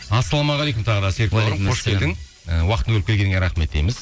ассалаумағалейкум тағы да і уақытыңды бөліп келгеніңе рахмет дейміз